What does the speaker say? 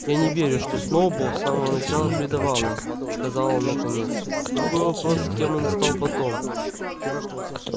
я не верю что сноуболл с самого начала предавал нас сказал он наконец другой вопрос кем он стал потом